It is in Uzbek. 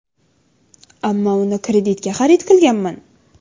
Ammo uni kreditga xarid qilganman.